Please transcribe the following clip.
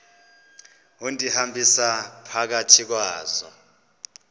undihambisa phakathi kwazo